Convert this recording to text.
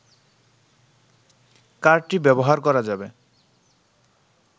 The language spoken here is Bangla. কার্ডটি ব্যবহার করা যাবে